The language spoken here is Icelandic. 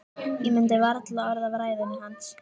Ég mundi varla orð af ræðunni hans.